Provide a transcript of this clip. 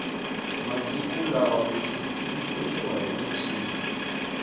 masiku lama misisi yi tsemiwa hi muchini